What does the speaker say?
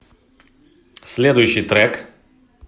следующий трек